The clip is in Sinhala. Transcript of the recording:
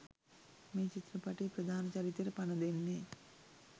මේ චිත්‍රපටයේ ප්‍රධාන චරිතයට පණ දෙන්නේ.